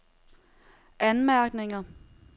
anmærkninger